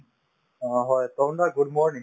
অ, হয় তৰুণ দা good morning